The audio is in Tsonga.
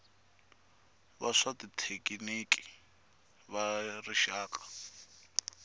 va swa xithekiniki va rixaka